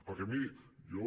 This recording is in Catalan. perquè miri jo